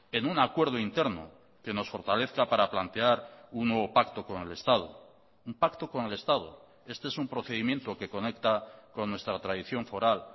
en un acuerdo interno que nos fortalezca para plantear un nuevo pacto con el estado un pacto con el estado este es un procedimiento que conecta con nuestra tradición foral